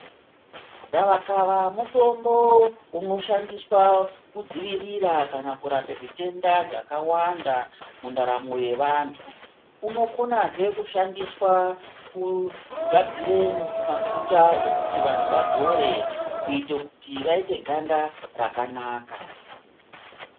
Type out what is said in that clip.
Gavakava mutombo unoshandiswa kudzivirira kana kurape zvitenda zvakawanda mundaramo yevantu, unokozve kushandiswa kugadzire mafuta ekuti vantu vazore kuti vaite ganda rakanaka.